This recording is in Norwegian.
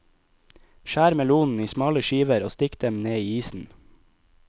Skjær melonen i smale skiver og stikk dem ned i isen.